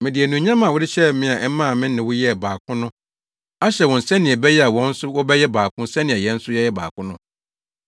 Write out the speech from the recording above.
Mede anuonyam a wode hyɛɛ me a ɛmaa me ne wo yɛɛ baako no ahyɛ wɔn sɛnea ɛbɛyɛ a wɔn nso wɔbɛyɛ baako sɛnea yɛn nso yɛyɛ baako no.